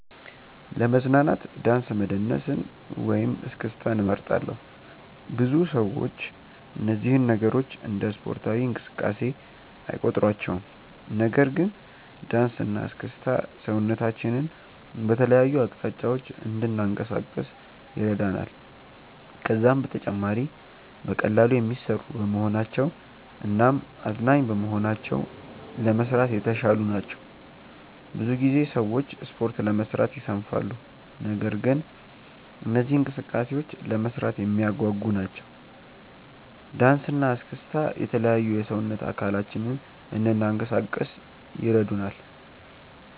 ለመዝናናት ዳንስ መደነስን ወይም እስክስታን እመርጣለሁ። ብዙ ሰዎች እነዚህን ነገሮች እንደ ስፖርታዊ እንቅስቃሴ አይቆጥሯቸውም። ነገር ግን ዳንስ እና እስክስታ ሰውነታችንን በተለያዩ አቅጣጫዎች እንድናንቀሳቅስ ይረዳናል። ከዛም በተጨማሪ በቀላሉ የሚሰሩ በመሆናቸው እናም አዝናኝ በመሆናቸው ለመስራት የተሻሉ ናቸው። ብዙ ጊዜ ሰዎች ስፖርት ለመስራት ይሰንፋሉ። ነገር ግን እነዚህ እንቅስቃሴዎች ለመስራት የሚያጓጉ ናቸው። ዳንሰ እና እስክስታ የተለያዩ የሰውነት አካላችንን እንናንቀሳቀስ ይረዱናል።